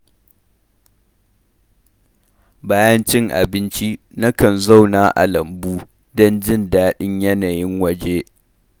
Bayan cin abinci, nakan zauna a lambu don jin daɗin yanayin wajen.